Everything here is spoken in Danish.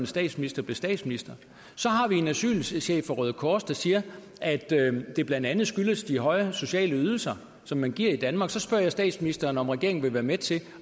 statsminister blev statsminister så har vi en asylchef fra røde kors der siger at det blandt andet skyldes de højere sociale ydelser som man giver i danmark så spørger jeg statsministeren om regeringen vil være med til